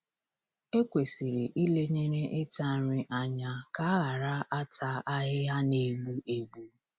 Ekwesịrị ilenyere ịta nri anya ka a ghara ata ahịhịa na-egbu egbu.